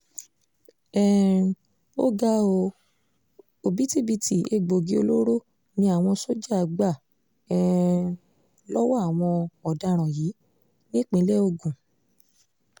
um ó ga ọ́ òbítíbitì egbòogi olóró ni àwọn sójà gbà um lọ́wọ́ àwọn ọ̀daràn yìí nípínlẹ̀ ogun